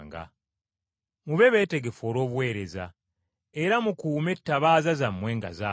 “Mube beetegefu olw’obuweereza, era mukuume ettabaaza zammwe nga zaaka.